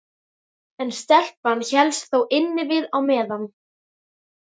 En stelpan hélst þó innivið á meðan.